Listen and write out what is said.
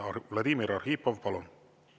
Vladimir Arhipov, palun!